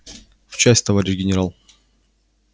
в часть товарищ генерал